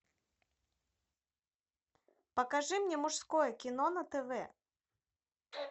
покажи мне мужское кино на тв